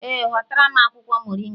Ee, hotara m akwụkwọ moringa